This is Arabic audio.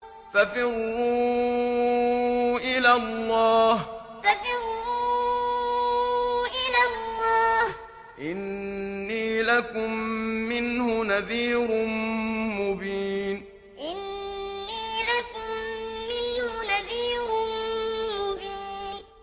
فَفِرُّوا إِلَى اللَّهِ ۖ إِنِّي لَكُم مِّنْهُ نَذِيرٌ مُّبِينٌ فَفِرُّوا إِلَى اللَّهِ ۖ إِنِّي لَكُم مِّنْهُ نَذِيرٌ مُّبِينٌ